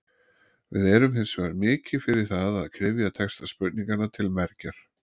Við erum hins vegar mikið fyrir það að kryfja texta spurninganna til mergjar.